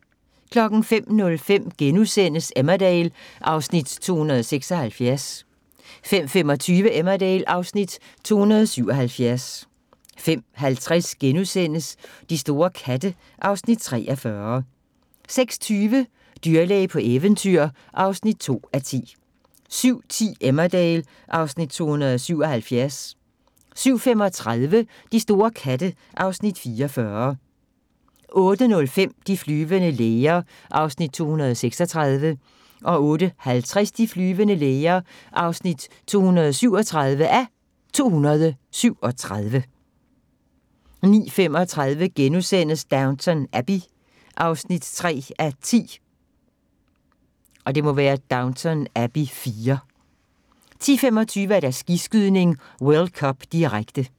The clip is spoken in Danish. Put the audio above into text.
05:05: Emmerdale (Afs. 276)* 05:25: Emmerdale (Afs. 277) 05:50: De store katte (Afs. 43)* 06:20: Dyrlæge på eventyr (2:10) 07:10: Emmerdale (Afs. 277) 07:35: De store katte (Afs. 44) 08:05: De flyvende læger (236:237) 08:50: De flyvende læger (237:237) 09:35: Downton Abbey (3:10)* 10:25: Skiskydning: World Cup, direkte